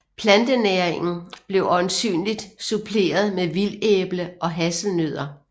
Plantenæringen blev øjensynligt suppleret med vildæble og hasselnødder